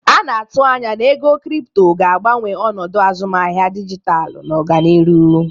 A na-atụ anya na ego kripto ga-agbanwe ọnọdụ azụmahịa dijitalụ n'ọdịnihu.